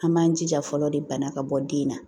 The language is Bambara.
An b'an jija fɔlɔ de bana ka bɔ den na